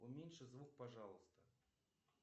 уменьши звук пожалуйста